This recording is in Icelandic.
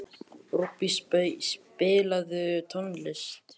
Rúbý, spilaðu tónlist.